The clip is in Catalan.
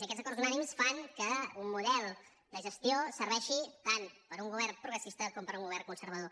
i aquests acords unànimes fan que un model de gestió serveixi tant per a un govern progressista com per a un govern conservador